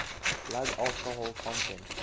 blood alcohol content